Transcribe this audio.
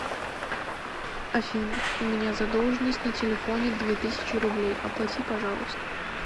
афина у меня задолженность на телефоне две тысячи рублей оплати пожалуйста